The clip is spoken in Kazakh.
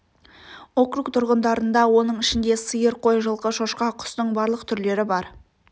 округ тұрғындарында оның ішінде сиыр қой жылқы шошқа құстың барлық түрлері бар